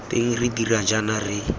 teng re dira jaana re